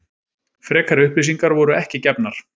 Frekari upplýsingar voru ekki gefnar